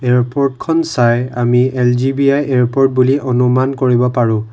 এয়াৰপৰ্টখন চাই আমি L G B I airport বুলি অনুমান কৰিব পাৰোঁ।